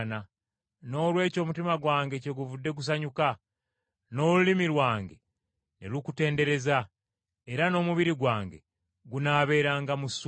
Noolwekyo omutima gwange kyeguvudde gusanyuka, n’olulimi lwange ne lukutendereza. Era n’omubiri gwange gunaabeeranga mu ssuubi.